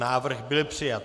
Návrh byl přijat.